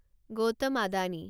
Gautam Adani